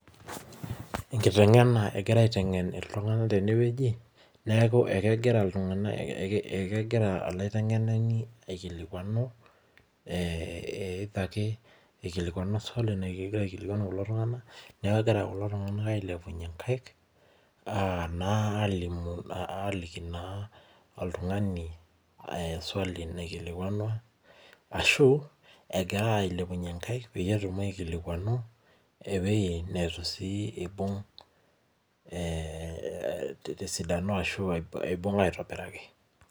Enkiteng'ena egirai aiteng'en iltung'ana tenewuaji neeku kegira iltung'ana ekigira olaiteng'enani aikilikuanu swali kulo tung'ana neeku kegira kulo tung'ana ailepunye nkaik alimu aliki naa oltung'ani swali naikilikuanua ashu egira ailepunye nkaik peyie etum aikilikuanu ewuji sii neitu eibung ee tesidano ashuu ebung aitobiraki